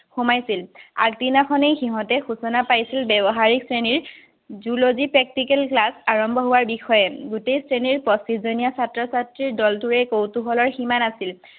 সোমাইছিল। আগদিনাখনেই সিহঁতে সুচনা পাইছিল, ব্যৱহাৰিক শ্ৰেণীৰ zoology practical class আৰম্ভ হোৱাৰ বিষয়ে। গোটেই শ্ৰেণীৰ পচিছজনীয়া ছাত্ৰ-ছাত্ৰীৰ দলটোৱে কৌতুহল সীমা নাছিল।